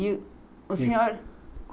E o senhor?